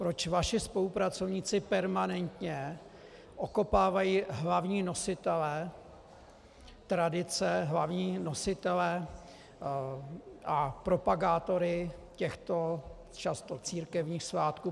Proč vaši spolupracovníci permanentně okopávají hlavní nositele tradice, hlavní nositele a propagátory těchto často církevních svátků?